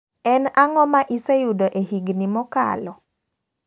En ang'o ma iseyudo e higni mokalo?